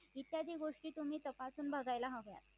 इत्यादी गोष्टी तुम्ही तपासून बघायला हव्या